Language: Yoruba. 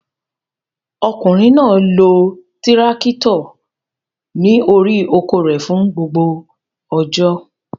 Ọkùnrin náà lọ tírákítọ̀ ní orí oko rẹ̀ fún gbogbo ọjọ́.